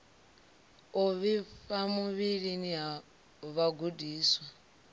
u vhifha muvhilini ha vhagudiswa